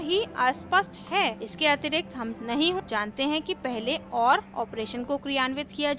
इसके अतिरिक्त हम नहीं जानते हैं कि पहले or operation को क्रियान्वित किया जाएगा या and operation को